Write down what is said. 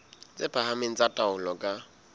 tse phahameng tsa taolo ka